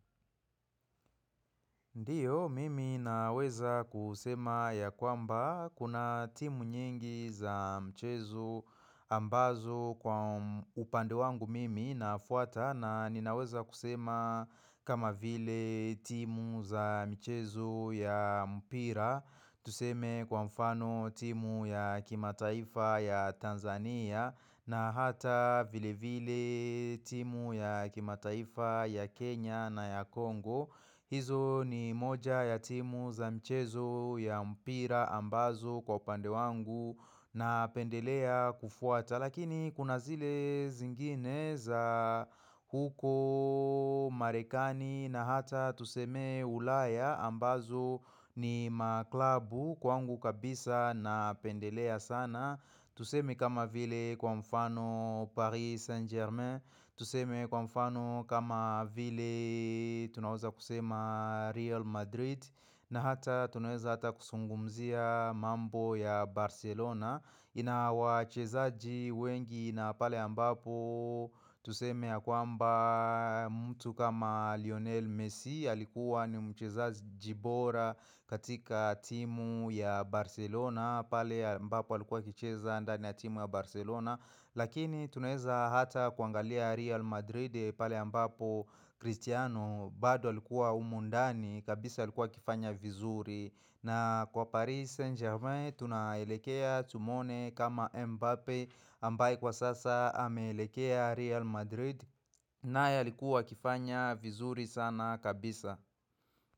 Ndiyo, mimi naweza kusema ya kwamba kuna timu nyingi za mchezo ambazo kwa upande wangu mimi nafuata na ninaweza kusema kama vile timu za mchezo ya mpira, tuseme kwa mfano timu ya kimataifa ya Tanzania na hata vile vile timu ya kimataifa ya Kenya na ya Kongo hizo ni moja ya timu za mchezo ya mpira ambazo kwa upande wangu napendelea kufuata Lakini kuna zile zingine za huko marekani na hata tuseme ulaya ambazo ni maklabu kwangu kabisa na napendelea sana Tuseme kama vile kwa mfano Paris Saint Germain, tuseme kwa mfano kama vile tunaweza kusema Real Madrid na hata tunaeza hata kuzungumzia mambo ya Barcelona ina wachezaji wengi na pale ambapo tuseme ya kwamba mtu kama Lionel Messi alikuwa ni mchezaji bora katika timu ya Barcelona pale ambapo alikuwa akicheza ndani ya timu ya Barcelona Lakini tunaeza hata kuangalia Real Madrid pale ambapo Cristiano bado alikuwa humu ndani kabisa alikuwa akifanya vizuri na kwa Paris Saint-Germain tunaelekea Tumwone kama Mbappe ambaye kwa sasa ameelekea Real Madrid naye alikuwa akifanya vizuri sana kabisa.